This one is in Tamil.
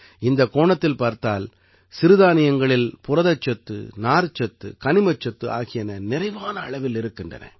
இந்தக் கோணத்தில் பார்த்தால் சிறுதானியங்களில் புரதச்சத்து நார்ச்சத்து கனிமச்சத்து ஆகியன நிறைவான அளவில் இருக்கின்றன